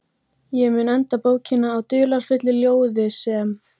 Ég mun enda bókina á dularfullu ljóði sem